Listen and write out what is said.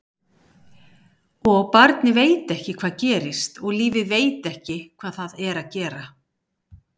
Og barnið veit ekki hvað gerist og lífið veit ekki hvað það er að gera.